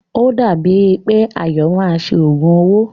O dàbí è pé Ayọ̀ máa ṣe òògùn owó.